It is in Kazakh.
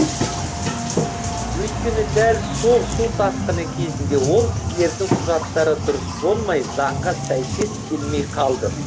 өйткені дәл сол су тасқыны кезінде ол кісілердің құжаттары дұрыс болмай заңға сәйкес келмей қалды